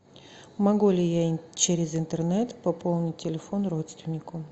могу ли я через интернет пополнить телефон родственнику